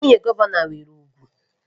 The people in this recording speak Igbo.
Nwunye gọvanọ nwere ugwu